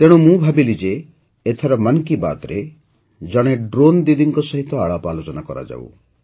ତେଣୁ ମୁଁ ଭାବିଲି ଯେ ଏଥର ମନ୍ କି ବାତ୍ରେ ଜଣେ ଡ୍ରୋନ୍ ଦିଦିଙ୍କ ସହିତ ଆଳାପଆଲୋଚନା କରାଯାଉ